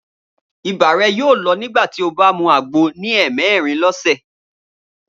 Ibà rẹ yóò lọ nígbà tí ó bá mú àgbo yóò ní ẹ̀ẹmẹ̀rin lọ́sẹ̀.